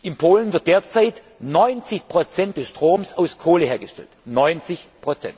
In Polen wird derzeit 90 des Stroms aus Kohle hergestellt. 90